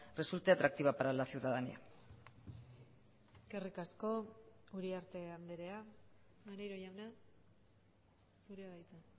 resulte atractiva para la ciudadanía eskerrik asko uriarte andrea maneiro jauna zurea da hitza